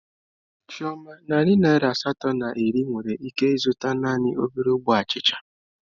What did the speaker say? Chioma, narị naira asatọ na iri nwere ike ịzụta naanị obere ogbe achịcha